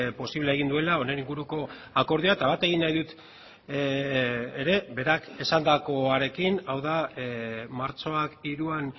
posible egin duela honen inguruko akordioa eta bat egin nahi dut ere berak esandakoarekin hau da martxoak hiruan